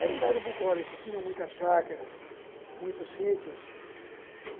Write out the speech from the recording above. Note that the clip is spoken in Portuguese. Era um bairro bucólico, tinha muitas chácaras, muitos sítios.